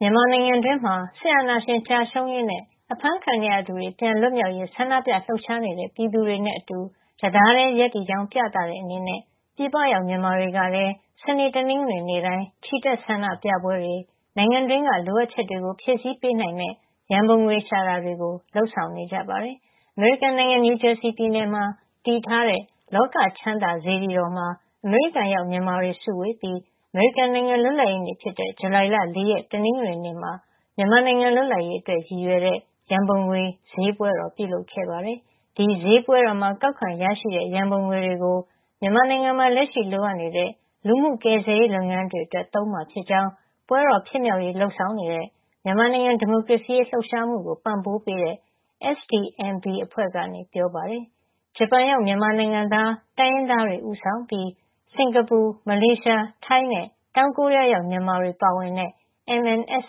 မြန်မာနိုင်ငံတွင်းမှာ စစ်အာဏာရှင် ကျရှုံးရေးနဲ့ အဖမ်းခံနေရသူတွေ ပြန်လွတ်မြောက်ရေး ဆန္ဒပြလှုပ်ရှားနေတဲ့ ပြည်သူတွေနဲ့အတူ တသားတည်း ရပ်တည်ကြောင်း ပြသတဲ့အနေနဲ့ ပြည်ပရောက် မြန်မာတွေကလည်း စနေ၊ တနင်္ဂနွေနေ့တိုင်း ချီတက် ဆန္ဒပြပွဲတွေ နိုင်ငံတွင်းက လိုအပ်ချက်တွေကို ဖြည့်ဆည်းပေးနိုင်မယ့် ရန်ပုံငွေရှာတာတွေ လုပ်ဆောင်နေကြပါတယ်။ အမေရိကန်နိုင်ငံ နယူးဂျာစီပြည်နယ်မှာ တည်ထားတဲ့ လောကချမ်းသာ စေတီတော်မှာ အမေရိကန်ရောက် မြန်မာတွေ စုဝေးပြီး အမေရိကန်နိုင်ငံ လွတ်လပ်ရေးနေ့ဖြစ်တဲ့ ဇူလိုင်လ ၄ ရက် တနင်္ဂနွေနေ့မှာ မြန်မာနိုင်ငံ လွတ်လပ်ရေးအတွက် ရည်ရွယ်တဲ့ ရန်ပုံငွေဈေးပွဲတော် ပြုလုပ်ခဲ့ပါတယ်။ ဒီဈေးပွဲတော်မှာ ကောက်ခံရရှိတဲ့ ရန်ပုံငွေတွေကို မြန်မာနိုင်ငံမှာ လက်ရှိ လိုအပ်နေတဲ့ လူမှုကယ်ဆယ်ရေး လုပ်ငန်းတွေအတွက် သုံးမှာဖြစ်ကြောင်း ပွဲတော်ဖြစ်မြောက်ရေး လုပ်ဆောင်နေတဲ့ မြန်မာနိုင်ငံ ဒီမိုကရေစီရေး လှုပ်ရှားမှုကို ပံ့ပိုးပေးတဲ့ SDMB (Support for Democracy Movement in Burma) အဖွဲ့က ပြောပါတယ်။ ဂျပန်ရောက် မြန်မာနိုင်ငံသား တိုင်းရင်းသားတွေက ဦးဆောင်ပြီး စင်ကာပူ၊ မလေးရှား၊ ထိုင်းနဲ့ တောင်ကိုရီးယားရောက် မြန်မာတွေ ပါဝင်တဲ့ MNSO (Myanmar Nationalities' Support Organization - Japan) ကတော့ တ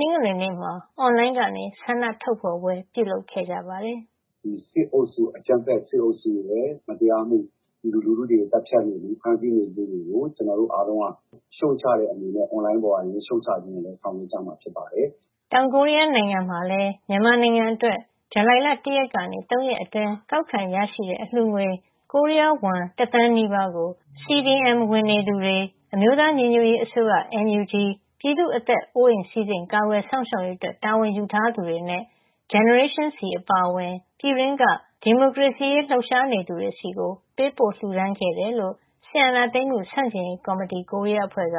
နင်္ဂနွေနေ့မှာ အွန်လိုင်းကနေ ဆန္ဒထုတ်ဖော်ပွဲ ပြုလုပ်ခဲ့ကြပါတယ်။ “ဒီ အကြမ်းဖက်စစ်အုပ်စုရဲ့ မတရားမှု၊ ပြည်သူလူထုတွေကို သတ်ဖြတ်မှု၊ ဖမ်းဆီးမှုတွေကို ကျနော်တို့အားလုံးက ရှုတ်ချတဲ့အနေနဲ့ အွန်လိုင်းပေါ်ကနေ ရှုတ်ချပွဲတွေ ဆောင်ရွက်ကြမှာ ဖြစ်ပါတယ်။” တောင်ကိုရီးယားနိုင်ငံမှာလည်း မြန်မာနိုင်ငံအတွက် ဇူလိုင်လ ၁ ရက်ကနေ ၃ ရက်အတွင်း ကောက်ခံရရှိတဲ့ အလှူငွေ ကိုရီးယားဝမ် တသန်းနီးပါးကို CDM ဝင်နေသူတွေ၊ အမျိုးသားညီညွတ်ရေးအစိုးရ (NUG)၊ ပြည်သူ့အသက်အိုးအိမ် ကာကွယ်စောင့်ရှောက်ရေးအတွက် တာဝန်ယူထားသူတွေနဲ့ Gen Z အပါအဝင် ပြည်တွင်းက ဒီမိုကရေစီရေး လှုပ်ရှားနေသူတွေဆီ ပေးပို့ လှူဒါန်းခဲ့တယ်လို့ စစ်အာဏာသိမ်းမှုဆန့်ကျင်ရေး ကော်မတီ - ကိုရီးယားအဖွဲ့က